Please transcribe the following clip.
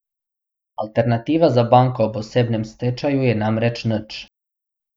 Alternativa za banko ob osebnem stečaju je namreč nič.